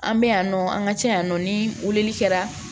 An bɛ yan nɔ an ka ca yan nɔ ni weleli kɛra